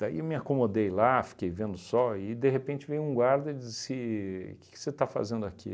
Daí eu me acomodei lá, fiquei vendo o sol e, de repente, veio um guarda e disse, que que você está fazendo aqui?